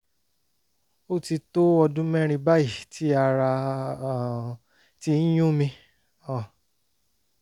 ó ti tó ọdún mẹ́rin báyìí tí ará um ti ń yún mi um